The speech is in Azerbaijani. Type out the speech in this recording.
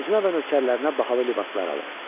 Özünə və nökərlərinə bahalı libaslar alır.